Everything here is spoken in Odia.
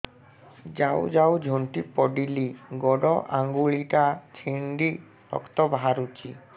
ଯାଉ ଯାଉ ଝୁଣ୍ଟି ପଡ଼ିଲି ଗୋଡ଼ ଆଂଗୁଳିଟା ଛିଣ୍ଡି ରକ୍ତ ବାହାରୁଚି